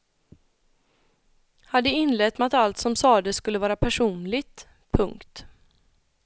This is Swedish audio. Hade inlett med att allt som sades skulle vara personligt. punkt